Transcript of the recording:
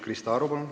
Krista Aru, palun!